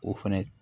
O fɛnɛ